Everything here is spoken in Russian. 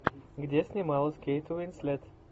где снималась кейт уинслет